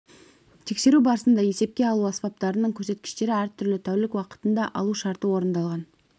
тексеру барысында есепке алу аспаптарының көрсеткіштері әртүрлі тәулік уақытында алу шарты орындалған